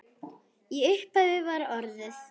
Í upphafi var orðið.